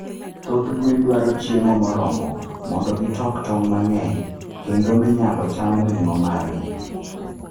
Thoth gwen dwaro chiemo moromo mondo gi tok tong mangeny kendo minyalo cham ring'o margi